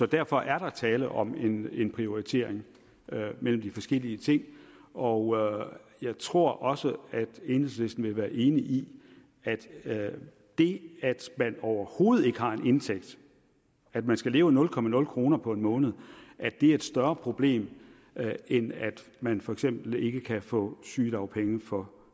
derfor er der tale om en en prioritering mellem de forskellige ting og jeg tror også at enhedslisten vil være enig i at at det at man overhovedet ikke har en indtægt at man skal leve af nul komma nul kroner på en måned er et større problem end at man for eksempel ikke kan få sygedagpenge for